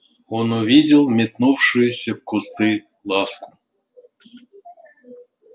он увидел метнувшуюся в кусты ласку